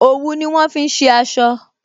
Òwú ni wọn fi ṣe aṣọ